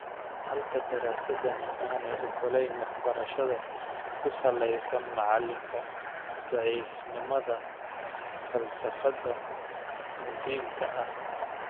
Halka daraasadani aanay ogolayn waxbarashada ku salaysan macalinka ( daciifnimada falsafada muhiimka ah).